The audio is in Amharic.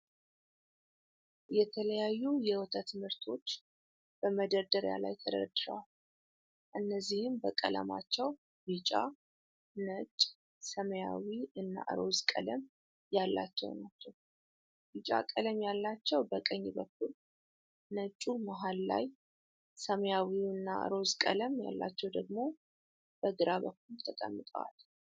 የተለያዩ የወተት ምርቶች በመደርደሪያ ላይ ተደርድረዋል እነዚህም በቀለማቸው ቢጫ፣ ነጭ፣ ሰማያዊ እና ሮዝ ቀለም ያላቸው ናቸው። ቢጫ ቀለም ያላቸው በቀኝ በኩል ነጩ መሃል ላይ ሰማያዊ እና ሮዝ ቀለም ያላቸው ደግሞ በግራ በኩል ተቀምጠዋል።